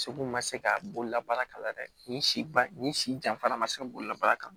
Segu ma se ka bolola baara kalan dɛ nin si ba nin si janfara ma se bolila baara kan